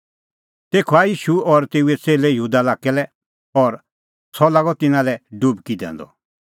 तेखअ आऐ ईशू और तेऊए च़ेल्लै यहूदा लाक्कै और सह लागअ तिन्नां संघै डुबकी दैंदअ